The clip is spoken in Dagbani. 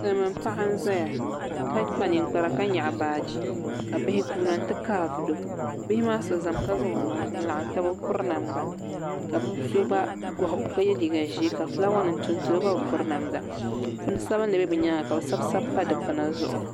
Silmiin paɣa n ʒɛya ka kpa ninkpara ka nyaɣa baaji ka bihi guuna n ti kaai vulo bihi maa so ʒɛmi ka zaŋ o nuhi n laɣam taba o bi piri namda ka bi so gba goho ka yɛ liiga ʒiɛ o gba bi piri namda ka fulaawa nimtonto o gba bi piri namda puni sabinli bɛ ni nyaanga ka bi sabi sabi pa dikpuna zuɣu bi